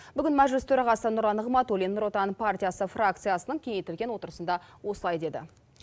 бүгін мәжіліс төрағасы нұрлан нығматулин нұр отан партиясы фракциясының кеңейтілген отырысында осылай деді